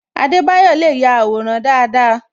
Adebayo le ya àwòrán dáadáa